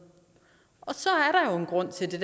til de